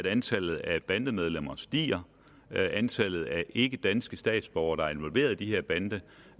at antallet af bandemedlemmer stiger antallet af ikkedanske statsborgere der er involveret i de